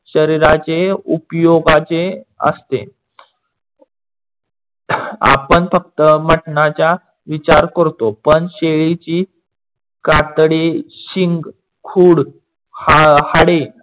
शरीराचे उपयोगाचे असते. आपण फक्त मटणाचा विचार करतो, पण शेळीची कातडी, शिंखूड, हाडे